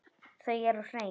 Þau eru hrein.